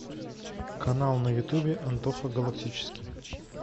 канал на ютубе антоха галактический